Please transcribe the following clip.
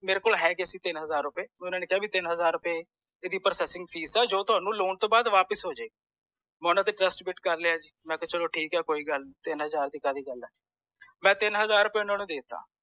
ਮੇਰੇ ਕੋਲ ਹੈਗੇ ਸੀ ਤਿਨ ਹਜ਼ਾਰ ਰੁਪਏ ਓਹਨਾ ਨੇ ਕਿਹਾ ਕਿ ਤਿੰਨ ਹਜ਼ਾਰ ਰੁਪਏ ਏਦੀ processing fees ਆ ਜੋ ਤੁਹਾਨੂੰ loan ਤੌਂ ਬਾਅਦ ਥੌਨੂੰ ਵਾਪਿਸ ਹੋਜੇਗੀ ਮੈਂ ਓਹਨਾ ਤੇ trust built ਕਰ ਲਿਆ ਜੀ ਮੈਂ ਕਿਹਾ ਚਲੋ ਕੋਈ ਨੀ ਦਿਨ ਹਜ਼ਾਰ ਦੀ ਕਾਹਦੀ ਗੁਲ ਹੈ ਮੈਂ ਤਿੰਨ ਹਜ਼ਾਰ ਓਹਨਾ ਨੂੰ ਦੇਤਾ